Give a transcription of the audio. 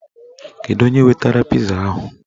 Kedu onye wetara piza ahụ?